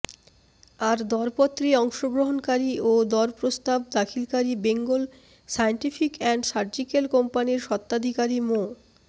আর দরপত্রে অংশগ্রহণকারী ও দরপ্রস্তাব দাখিলকারী বেঙ্গল সায়েন্টিফিক অ্যান্ড সার্জিক্যাল কোম্পানির স্বত্বাধিকারী মো